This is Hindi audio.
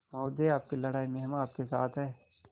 महोदय आपकी लड़ाई में हम आपके साथ हैं